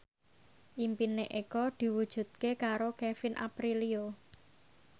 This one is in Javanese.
impine Eko diwujudke karo Kevin Aprilio